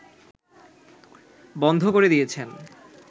বন্ধ করে দিয়েছেন